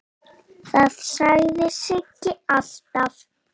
Það sagði Siggi alltaf.